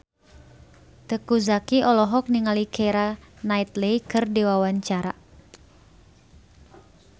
Teuku Zacky olohok ningali Keira Knightley keur diwawancara